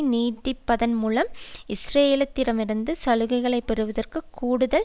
நீடிப்பதன் மூலம் இஸ்ரேலிடமிருந்து சலுகைகளை பெறுவதற்கு கூடுதல்